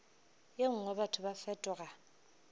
ye nngwe batho ba fetoga